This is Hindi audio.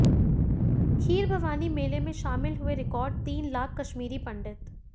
खीरभवानी मेले में शामिल हुए रिकार्ड तीन लाख कश्मीरी पंडित